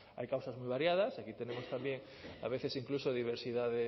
hay causas muy variadas y aquí tenemos también a veces incluso diversidad